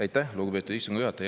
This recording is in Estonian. Aitäh, lugupeetud istungi juhataja!